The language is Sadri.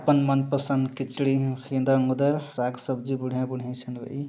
ओपन मनपसंद खिचड़ी हिंद गुदा राग सब्जी बुढ़िया बूढ़े सुनवाई।